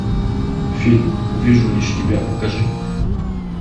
фильм вижу лишь тебя покажи